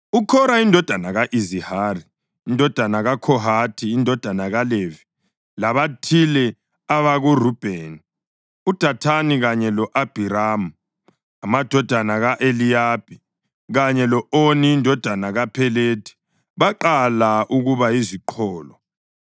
UKhora indodana ka-Izihari, indodana kaKhohathi, indodana kaLevi, labathile abakoRubheni, uDathani kanye lo-Abhiramu, amadodana ka-Eliyabi, kanye lo-Oni indodana kaPhelethi baqala ukuba yiziqholo